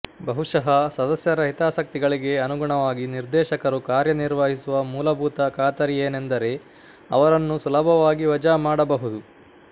ಬಹುಶಃ ಸದಸ್ಯರ ಹಿತಾಸಕ್ತಿಗಳಿಗೆ ಅನುಗುಣವಾಗಿ ನಿರ್ದೇಶಕರು ಕಾರ್ಯನಿರ್ವಹಿಸುವ ಮೂಲಭೂತ ಖಾತರಿಯೇನೆಂದರೆ ಅವರನ್ನು ಸುಲಭವಾಗಿ ವಜಾ ಮಾಡಬಹುದು